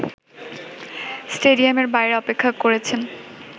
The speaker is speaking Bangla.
স্টেডিয়ামের বাইরে অপেক্ষা করেছেন